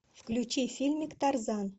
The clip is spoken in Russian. включи фильмик тарзан